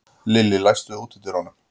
Lillý, læstu útidyrunum.